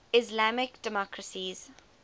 islamic democracies